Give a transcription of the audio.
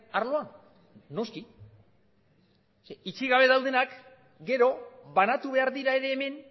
arloan noski ze itxi gabe daudenak gero banatu behar dira ere hemen